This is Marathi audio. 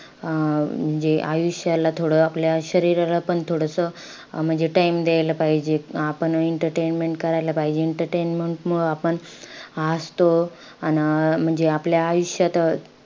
अं म्हणजे आयुष्याला थोडं आपल्या शरीराला आपण थोडंसं अं म्हणजे time द्यायला पाहिजे. आपण entertainment करायला पाहिजे. entertainment मुळे आपण हासतो अन अं म्हणजे आपल्या आयुष्यात,